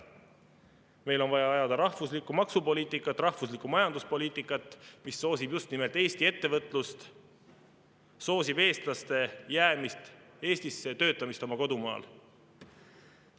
Meil on vaja ajada rahvuslikku maksupoliitikat, rahvuslikku majanduspoliitikat, mis soosib just nimelt Eesti ettevõtlust, soosib eestlaste jäämist Eestisse, töötamist oma kodumaal.